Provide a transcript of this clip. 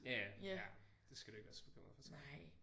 Ja ja. Ja det skal du ikke være så bekymret for tror jeg